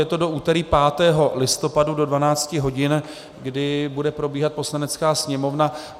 Je to do úterý 5. listopadu do 12 hodin, kdy bude probíhat Poslanecká sněmovna.